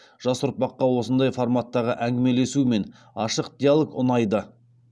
жас ұрпаққа осындай форматтағы әңгімелесу мен ашық диалог ұнайды